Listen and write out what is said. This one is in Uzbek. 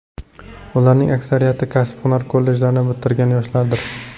Ularning aksariyati kasb-hunar kollejlarini bitirgan yoshlardir.